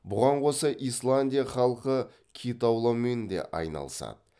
бұған қоса исландия халқы кит аулаумен де айналысады